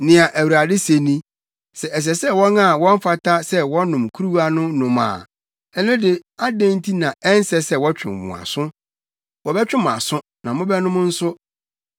Nea Awurade se ni: “Sɛ ɛsɛ sɛ wɔn a wɔmfata sɛ wɔnom kuruwa no nom a, ɛno de adɛn nti na ɛnsɛ sɛ wɔtwe mo aso? Wɔbɛtwe mo aso na mobɛnom nso.